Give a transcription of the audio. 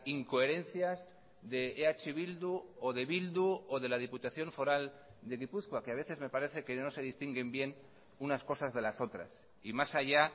incoherencias de eh bildu o de bildu o de la diputación foral de gipuzkoa que a veces me parece que no se distinguen bien unas cosas de las otras y más allá